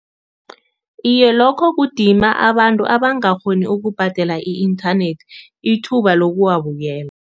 Iye, lokho kudima abantu abangakghoni ukubhadela i-inthanethi ithuba lokuwabukela.